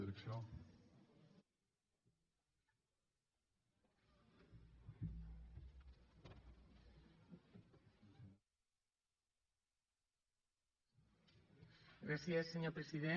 gràcies senyor president